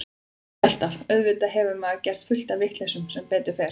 Ekki alltaf, auðvitað hefur maður gert fullt af vitleysum sem betur fer.